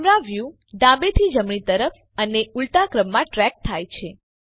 camera view ડાબેથી જમણી તરફ અને ઉલટાક્રમમાં ટ્રેક થાય છે